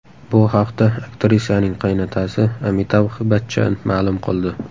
Bu haqda aktrisaning qaynotasi Amitabh Bachchan ma’lum qildi.